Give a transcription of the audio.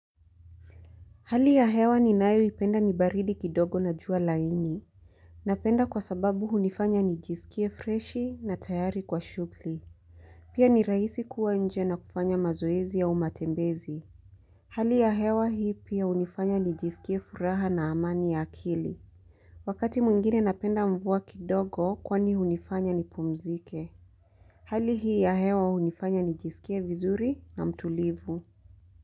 Hali ya hewa ni nayo ipenda nibaridi kidogo na jua laini. Napenda kwa sababu hunifanya nijisikie freshi na tayari kwa shughuli pia ni rahisi kuwa nje na kufanya mazoezi au matembezi hali ya hewa hii pia hunifanya nijiskie furaha na amani ya akili wakati mwingine na penda mvua kidogo kwani hunifanya ni pumzike hali hii ya hewa hunifanya nijisikie vizuri na mtulivu.